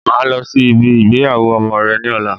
Máa lọ sí ibi ìgbéyàwó ọmọ rẹ ní ọ̀la